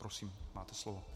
Prosím, máte slovo.